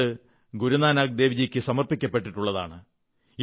അത് ഗുരുനാനക് ദേവ്ജിക്ക് സമർപ്പിക്കപ്പെട്ടിട്ടുള്ളതാണ്